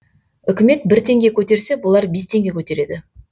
үкімет бір теңге көтерсе бұлар бес теңге көтереді